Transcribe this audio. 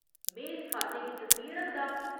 में इस खाते गी सक्रिय रखदा।